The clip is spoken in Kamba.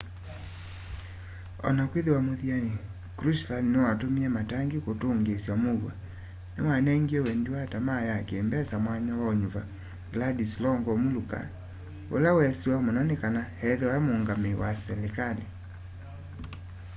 ona kwĩthĩwa muthianĩ krushchev nĩwatumie matangi kũtũngĩĩsya mũuo nĩwanengie wendi na tamaa ya kĩmbesa mwanya waũnyuva wladyslaw gomulka ũla wesĩwe mũno nĩ kana ethĩwe mũũngamũũ wa silikalĩ